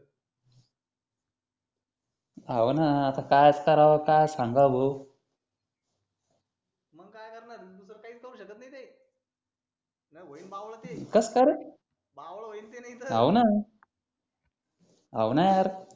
हाव न आता काय चं करावं आता काय सांगावं भो मग काय करणार हे दुसरं काहीच करू शकत नि ते व्हीन बावल ते कसं काय रे बावल होईल ते नाहीतर हाव न हाव न यार